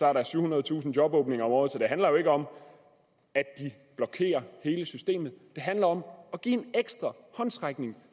er der syvhundredetusind jobåbninger om året så det handler jo ikke om at de blokerer hele systemet det handler om at give en ekstra håndsrækning